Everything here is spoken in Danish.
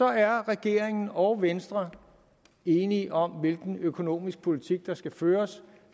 er regeringen og venstre enige om hvilken økonomisk politik der skal føres